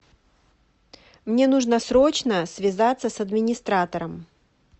мне нужно срочно связаться с администратором